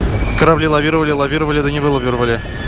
корабли лавировали лавировали да не вылавировали